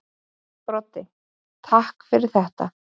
Broddi: Takk fyrir þetta.